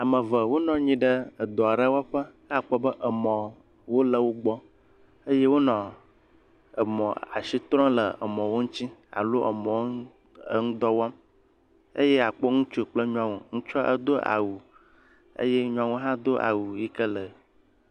Ame eve wonɔ anyi ɖe edɔ aɖe wɔƒe. Ke akpɔ be emɔwo le wogbɔ eye wonɔ emɔ asi trɔm le emɔwo ŋuti alo emɔwo ŋudɔ wɔm eye akpo ŋutsu kple nyɔnu. Ŋutsu edo awu eye nyɔnua hã do awu yi ke le.